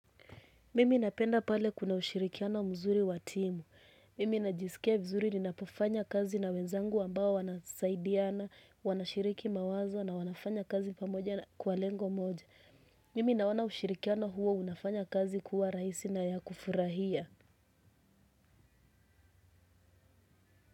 Mimi napenda pale kuna ushirikiano mzuri watimu. Mimi najisikia vizuri ninapofanya kazi na wenzangu ambao wanasaidiana, wanashiriki mawazo na wanafanya kazi pamoja kwa lengo moja. Mimi nawona ushirikiano huo unafanya kazi kuwa raisi na ya kufurahia.